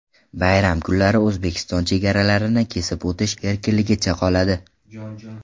Bayram kunlari O‘zbekiston chegaralarini kesib o‘tish erkinligicha qoladi.